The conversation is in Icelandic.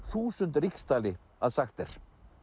þúsund ríkisdali að sagt er